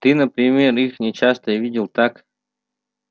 ты например их не часто видел так